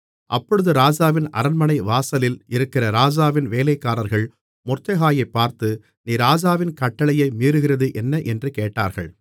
அப்பொழுது ராஜாவின் அரண்மனை வாசலில் இருக்கிற ராஜாவின் வேலைக்காரர்கள் மொர்தெகாயைப் பார்த்து நீ ராஜாவின் கட்டளையை மீறுகிறது என்ன என்று கேட்டார்கள்